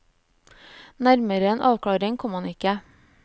Nærmere en avklaring kom han ikke.